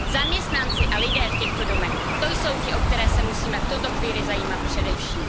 Zaměstnanci a lidé v těchto domech, to jsou ti, o které se musíme v tuto chvíli zajímat především.